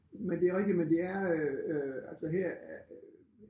Men det rigtig men det er øh altså her